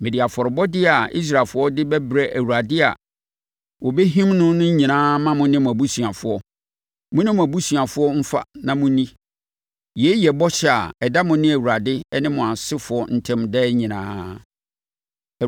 Mede afɔrebɔdeɛ a Israelfoɔ de bɛbrɛ Awurade a wɔbɛhim no no nyinaa ma mo ne mo abusuafoɔ. Mo ne mo abusuafoɔ mfa na monni. Yei yɛ bɔhyɛ a ɛda mo ne Awurade ne mo asefoɔ ntam daa nyinaa.”